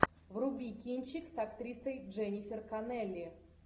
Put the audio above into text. вруби кинчик с актрисой дженнифер коннелли